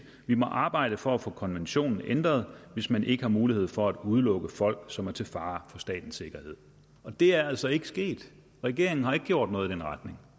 vi må arbejde for at få konventionen ændret hvis man ikke har mulighed for at udelukke folk som er til fare for statens sikkerhed og det er altså ikke sket regeringen har ikke gjort noget i den retning